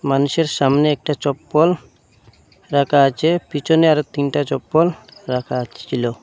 মানুষের সামনে একটা চপ্পল রাখা আচে পিছনে আরো তিনটা চপ্পল রাখা ছিল।